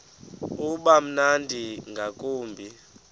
uba mnandi ngakumbi